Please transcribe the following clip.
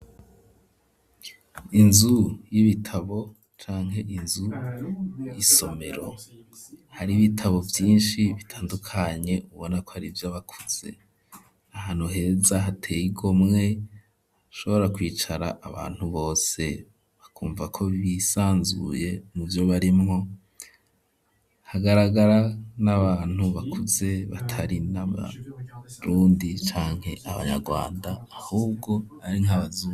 Inzu y'ibitabo canke inzu y'isomero hari ibitabo byinshi bitandukanye ubona ko ari byo bakuze, ahantu heza hateye igomwe shobora kwicara abantu bose bakumva ko bisanzuye ni vyo barimwo hagaragara n'abantu bakuze batari n'abarundi canke abanyarwanda ahubwo ari nkabazungu.